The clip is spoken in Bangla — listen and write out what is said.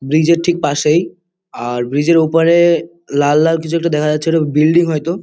ব্রিজ -এর ঠিক পাশেই আর ব্রিজ -এর ওপারে-এ লাল-লাল কিছু একটা দেখা যাচ্ছে ওটা বিল্ডিং হয়তো।